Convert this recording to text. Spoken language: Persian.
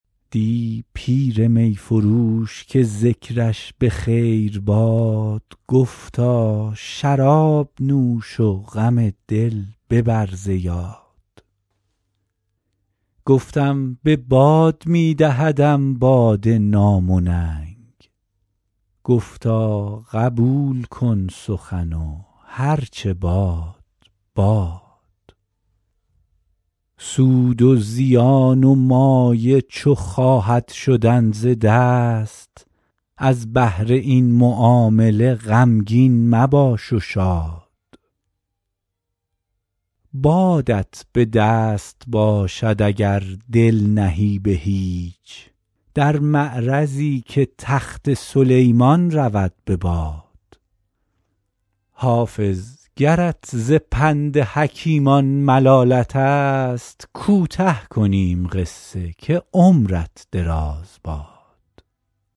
دی پیر می فروش که ذکرش به خیر باد گفتا شراب نوش و غم دل ببر ز یاد گفتم به باد می دهدم باده نام و ننگ گفتا قبول کن سخن و هر چه باد باد سود و زیان و مایه چو خواهد شدن ز دست از بهر این معامله غمگین مباش و شاد بادت به دست باشد اگر دل نهی به هیچ در معرضی که تخت سلیمان رود به باد حافظ گرت ز پند حکیمان ملالت است کوته کنیم قصه که عمرت دراز باد